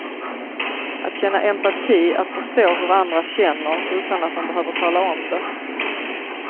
Att känna empati, att förstå hur andra känner utan att de behöver tala om det.